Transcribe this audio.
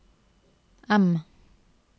M